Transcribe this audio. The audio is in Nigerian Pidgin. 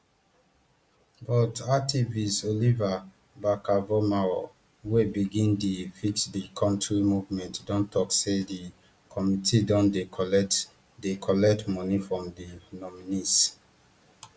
but activist oliver barkervormawor wey begin di fixthecountry movement don tok say di committee don dey collect dey collect moni from di nominees